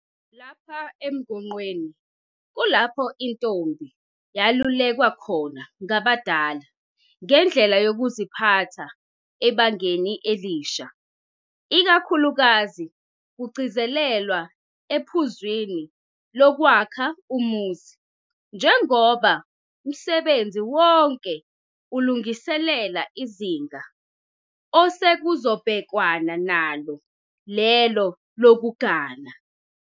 Lapha emgonqweni kulapho intombi yalulekwa khona ngabadala ngendlela yokuziphatha ebangeni elisha. Ikakhulukazi kugcizelelwa ephuzwini lokwakha umuzi njengoba msebenzi wonke ulungiselela izinga osekuzobhekwana nalo lelo lokugana.